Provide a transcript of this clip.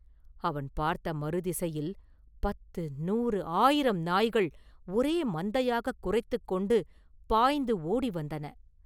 அவன் பார்த்த மறுதிசையில் பத்து, நூறு, ஆயிரம் நாய்கள் ஒரே மந்தையாகக் குரைத்துக் கொண்டு பாய்ந்து ஓடி வந்தன.